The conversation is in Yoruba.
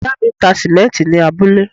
Ìyá mi ń ta sìmẹ́ǹtì ní abúlé.